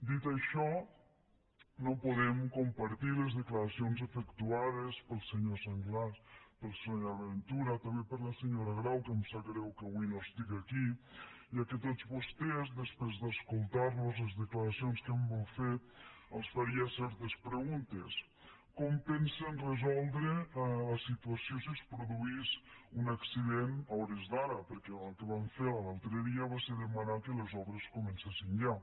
dit això no podem compartir les declaracions efectuades pel senyor sanglas per la senyora ventura també per la senyora grau que em sap greu que avui no estiga aquí ja que a tots vostès després d’escoltar los les declaracions que han fet els faria certes preguntes com pensen resoldre la situació si es produís un accident a hores d’ara perquè el que van fer l’altre dia va ser demanar que les obres comencessin ja